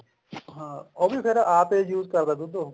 ਹਾਂ ਉਹ ਵੀ ਫ਼ੇਰ ਆਪ ਏ use ਕਰਦਾ ਦੁੱਧ ਉਹ